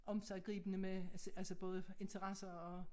Omsiggribende med altså altså både interesser og